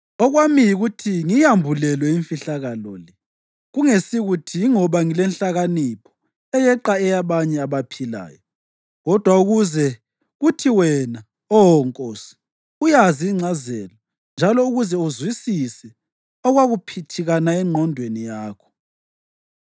Okwami yikuthi ngiyambulelwe imfihlakalo le, kungesukuthi yingoba ngilenhlakanipho eyeqa eyabanye abaphilayo, kodwa ukuze kuthi wena, Oh nkosi, uyazi ingcazelo njalo ukuze uzwisise okwakuphithikana engqondweni yakho.